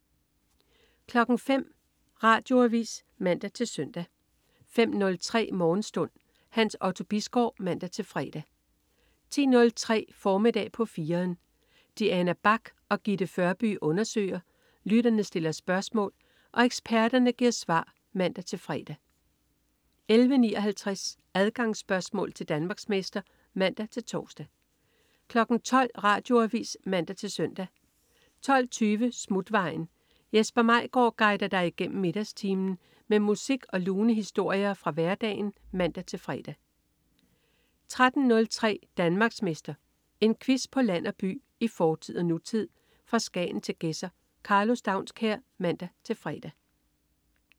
05.00 Radioavis (man-søn) 05.03 Morgenstund. Hans Otto Bisgaard (man-fre) 10.03 Formiddag på 4'eren. Diana Bach og Gitte Førby undersøger, lytterne stiller spørgsmål og eksperterne giver svar (man-fre) 11.59 Adgangsspørgsmål til Danmarksmester (man-tors) 12.00 Radioavis (man-søn) 12.20 Smutvejen. Jesper Maigaard guider dig igennem middagstimen med musik og lune historier fra hverdagen (man-fre) 13.03 Danmarksmester. En quiz på land og by, i fortid og nutid, fra Skagen til Gedser. Karlo Staunskær (man-fre)